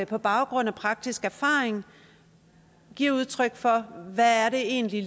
på baggrund af praktisk erfaring giver udtryk for hvad det egentlig